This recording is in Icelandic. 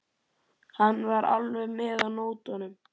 Hann var alveg með á nótunum.